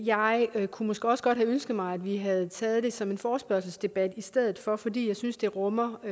jeg kunne måske også godt have ønsket mig at vi havde taget det som en forespørgselsdebat i stedet for fordi jeg synes det rummer